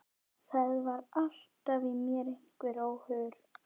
Það var alltaf í mér einhver óhugur.